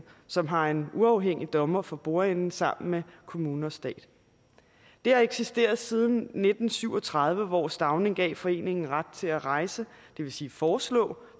som har en uafhængig dommer for bordenden sammen med kommune og stat det har eksisteret siden nitten syv og tredive hvor stauning gav foreningen ret til at rejse det vil sige foreslå